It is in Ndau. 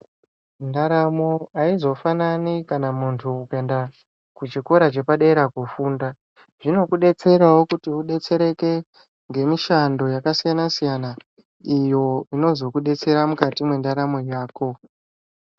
Ndaramo aizofanani kana muntu kuenda kuchikora chepadera kufunda zvinokudetserawo kuti udetsereke ngemishando yakasiyana siyana iyo inozokudetsera mukati mwendaramo yako.